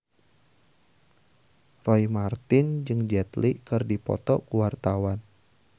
Roy Marten jeung Jet Li keur dipoto ku wartawan